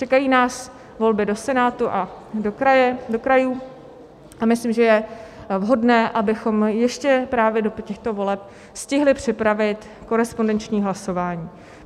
Čekají nás volby do Senátu a do krajů a myslím, že je vhodné, abychom ještě právě do těchto voleb stihli připravit korespondenční hlasování.